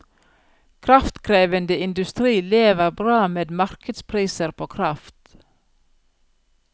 Kraftkrevende industri lever bra med markedspriser på kraft.